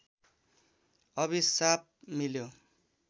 अभिशाप मिल्यो